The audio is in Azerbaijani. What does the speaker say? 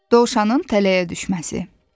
Dovşanın tələyə düşməsi.